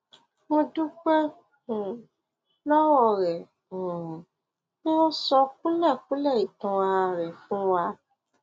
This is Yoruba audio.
mo dúpẹ um lọwọ rẹ um pé o sọ kúlẹkúlẹ ìtàn ara rẹ fún wa